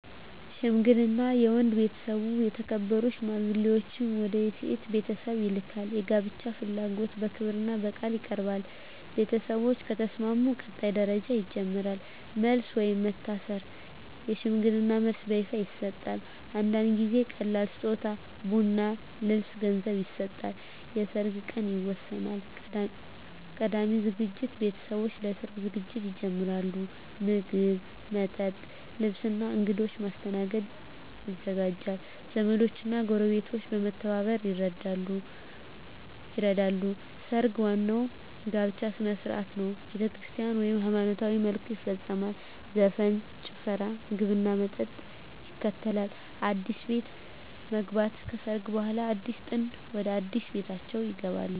ሽምግልና የወንድ ቤተሰብ የተከበሩ ሽማግሌዎችን ወደ የሴት ቤተሰብ ይልካል። የጋብቻ ፍላጎት በክብርና በቃል ይቀርባል። ቤተሰቦች ከተስማሙ ቀጣይ ደረጃ ይጀምራል። መልስ (ወይም መታሰር) የሽምግልና መልስ በይፋ ይሰጣል። አንዳንድ ጊዜ ቀላል ስጦታ (ቡና፣ ልብስ፣ ገንዘብ) ይሰጣል። የሰርግ ቀን ይወሰናል። ቀዳሚ ዝግጅት ቤተሰቦች ለሰርግ ዝግጅት ይጀምራሉ። ምግብ፣ መጠጥ፣ ልብስ እና እንግዶች ማስተናገድ ይዘጋጃል። ዘመዶች እና ጎረቤቶች በመተባበር ይረዳሉ። ሰርግ ዋናው የጋብቻ ሥነ ሥርዓት ነው። በቤተክርስቲያን (ወይም በሃይማኖታዊ መልኩ) ይፈጸማል። ዘፈን፣ ጭፈራ፣ ምግብና መጠጥ ይከተላል። አዲስ ቤት መግባት (ከሰርግ በኋላ) አዲሱ ጥንድ ወደ አዲስ ቤታቸው ይገባሉ።